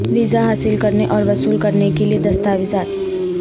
visa حاصل کرنے اور وصول کرنے کے لئے دستاویزات